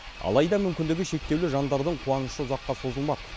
алайда мүмкіндігі шектеулі жандардың қуанышы ұзаққа созылмады